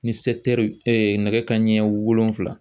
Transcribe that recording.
Ni nɛgɛ kanɲɛ wolonwula